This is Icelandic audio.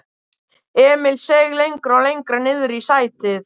Emil seig lengra og lengra niðrí sætið.